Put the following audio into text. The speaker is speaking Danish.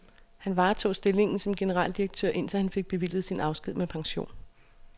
Han varetog stillingen som generaldirektør indtil han fik bevilget sin afsked med pension.